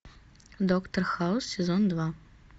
доктор хаус сезон два